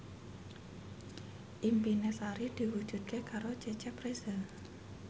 impine Sari diwujudke karo Cecep Reza